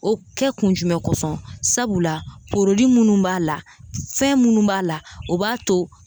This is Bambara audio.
O kɛ kun jumɛn kosɔn sabula minnu b'a la , fɛn minnu b'a la o b'a to.